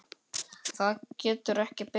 Það getur ekki beðið.